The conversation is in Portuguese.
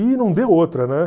E não deu outra, né